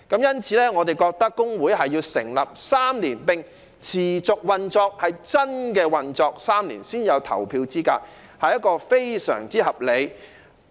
因此，我們認為規定工會須成立3年並持續運作，是真正運作滿3年才有投票資格，是非常合理的。